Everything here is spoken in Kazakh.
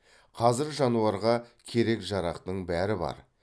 қазір жануарға керек жарақтың бәрі бар